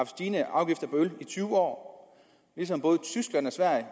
stigende afgifter på øl i tyve år ligesom både tyskland og sverige